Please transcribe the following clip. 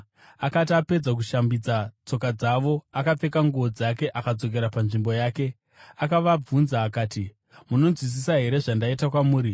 Akati apedza kushambidza tsoka dzavo, akapfeka nguo dzake akadzokera panzvimbo yake. Akavabvunza akati, “Munonzwisisa here zvandaita kwamuri?